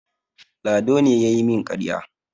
Lado ne ya yi min ƙarya.